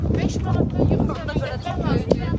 Beş manatlıq yığmağa görə çox da yığdıq.